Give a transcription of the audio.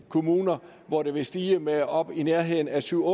kommuner hvor det vil stige med op i nærheden af syv